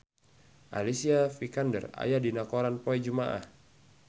Alicia Vikander aya dina koran poe Jumaah